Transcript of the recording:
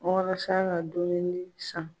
Walasa ka dumuni san.